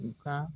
U ka